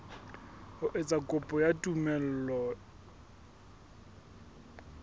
ho etsa kopo ya tumello